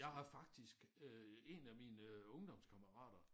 Jeg har faktisk øh 1 af mine øh ungdomskammerater